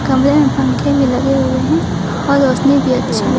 कमरे में पंखे भी लगे हुए हैं और रोशनी भी अच्छी है।